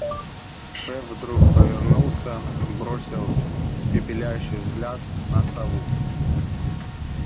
шеф вдруг повернулся бросил испепеляющий взгляд на сову